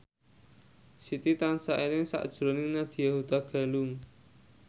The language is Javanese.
Siti tansah eling sakjroning Nadya Hutagalung